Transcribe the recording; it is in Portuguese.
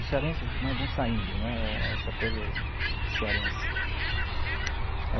Os cearenses né, vão saindo né, essa coisa de cearense.